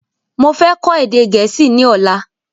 Mo fẹ́ kọ́ èdè gẹ̀ẹ́sì ni ọ̀la